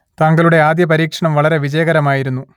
താങ്കളുടെ ആദ്യ പരീക്ഷണം വളരെ വിജയകരമായിരുന്നു